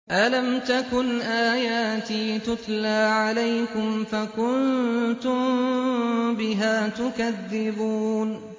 أَلَمْ تَكُنْ آيَاتِي تُتْلَىٰ عَلَيْكُمْ فَكُنتُم بِهَا تُكَذِّبُونَ